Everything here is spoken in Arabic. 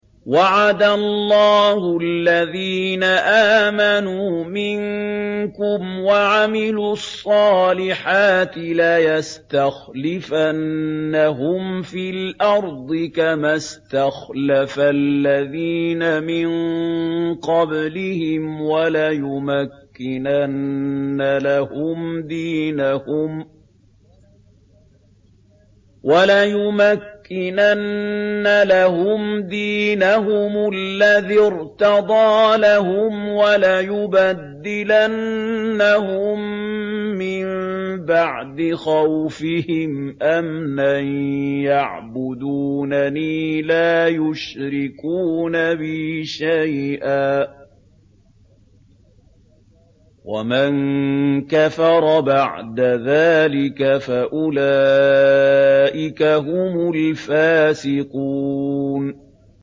وَعَدَ اللَّهُ الَّذِينَ آمَنُوا مِنكُمْ وَعَمِلُوا الصَّالِحَاتِ لَيَسْتَخْلِفَنَّهُمْ فِي الْأَرْضِ كَمَا اسْتَخْلَفَ الَّذِينَ مِن قَبْلِهِمْ وَلَيُمَكِّنَنَّ لَهُمْ دِينَهُمُ الَّذِي ارْتَضَىٰ لَهُمْ وَلَيُبَدِّلَنَّهُم مِّن بَعْدِ خَوْفِهِمْ أَمْنًا ۚ يَعْبُدُونَنِي لَا يُشْرِكُونَ بِي شَيْئًا ۚ وَمَن كَفَرَ بَعْدَ ذَٰلِكَ فَأُولَٰئِكَ هُمُ الْفَاسِقُونَ